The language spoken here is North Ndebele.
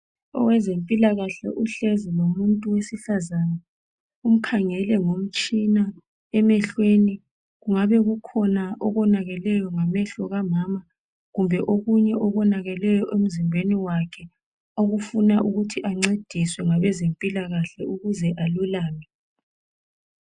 Owezempilakahle uhlezi lomuntu wesifazana, umkhangele ngomtshina emehlweni. Kungabe kukhona okonakeleyo ngamehlo kamama, kumbe okunye okonakeleyo emzimbeni wakhe okufuna ukuthi ancediswe ngabezempilakahle ukuze alulame.